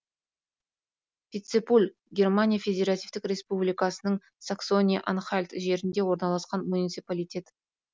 пицпуль германия федеративтік республикасының саксония анхальт жерінде орналасқан муниципалитет